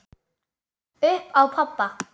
Upp á pabba.